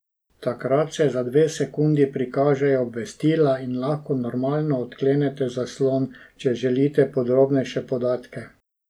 Takrat se za dve sekundi prikažejo obvestila in lahko normalno odklenete zaslon, če želite podrobnejše podatke.